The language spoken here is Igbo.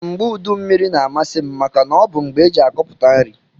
Mgbe udu mmiri na amasim maka na ọbu mgbe eji akọpụta nri.